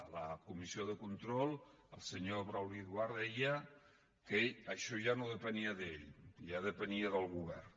a la comissió de control el senyor brauli duart deia que això ja no depenia d’ell ja depenia del govern